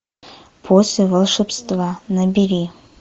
после волшебства набери